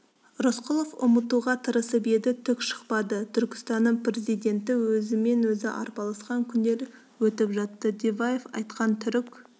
рысқұлов ұмытуға тырысып еді түк шықпады түркістанның президенті өзімен-өзі арпалысқан күндер өтіп жатты диваев айтқан түрік